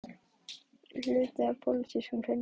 Kristján Már Unnarsson: Hluti af pólitískum hreinsunum?